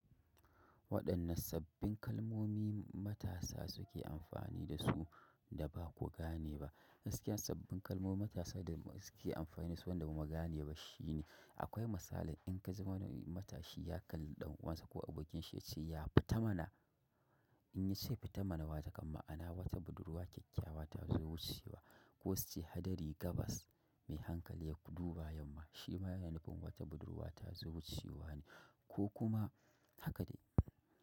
Waɗannan sabbin kalmomi matasa suke amfani da su da ba ku gane ba? Gaskiya, sabbin kalmomi da matasa da suke amfani da su wanda mu ba mu gane ba shine akwai misali in ka ji wani matashi ya kalli ɗan uwansa ko abokinsa ya ce ya fita mana, in ya ce fita mana wa ta kam ma'ana wata budurwa kyakkyawa ta zo wucewa ko su ce hadari gabas mai hankali ya duba yamma shi ma yana nufin wata budurwa ta zo wucewa ne ko kuma haka ne.